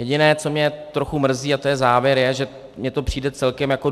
Jediné, co mě trochu mrzí, a to je závěr, je, že mně to přijde celkem jako